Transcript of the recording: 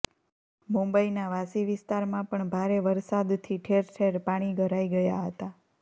મુંબઈના વાશી વિસ્તારમાં પણ ભારે વરસાદથી ઠેર ઠેર પાણી ભરાઈ ગયા હતા